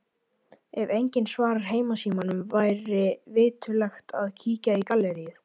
Ef enginn svarar heimasímanum væri viturlegt að kíkja í galleríið.